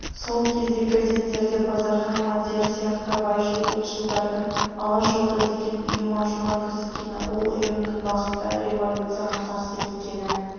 сол кезде газеттерде базархан мадияр сияқты байшыл-ұлтшылдардың алашорда деген ұйым ашуға кіріскені ол ұйымның бағыты революцияға қарсы екені